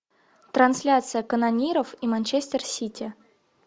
трансляция канониров и манчестер сити